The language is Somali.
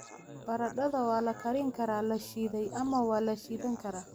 Baradhada waa la karin karaa, la shiiday ama waa la shiilan karaa.